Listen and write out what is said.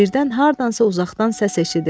Birdən hardansa uzaqdan səs eşidildi.